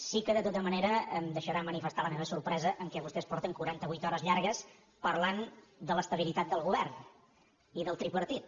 sí que de tota manera em deixarà manifestar la meva sorpresa que vostès portin quaranta vuit hores llargues parlant de l’estabilitat del govern i del tripartit